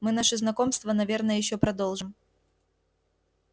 мы наше знакомство наверное ещё продолжим